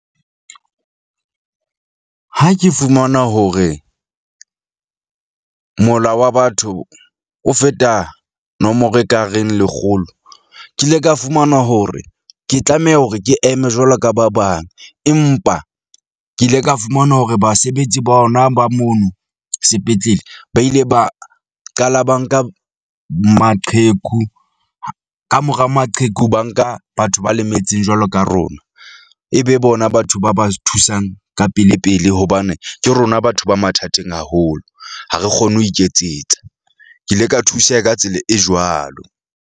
Ha ke fumana hore mola wa batho o feta nomoro ekareng lekgolo. Ke ile ka fumana hore ke tlameha hore ke eme jwalo ka ba bang, empa ke ile ka fumana hore basebetsi ba hona ba mono sepetlele ba ile ba qala ba nka maqheku. Ka mora maqheku, ba nka batho ba lemetseng jwalo ka rona. E be bona batho ba ba thusang ka pele pele hobane ke rona batho ba mathateng haholo. Ha re kgone ho iketsetsa. Ke ile ka thuseha ka tsela e jwalo.